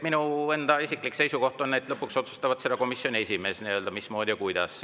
Minu isiklik seisukoht on, et lõpuks otsustab seda komisjoni esimees, mismoodi ja kuidas.